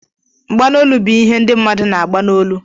Mgbanolu bụ ihe ndị mmadụ na-agba n' ólú.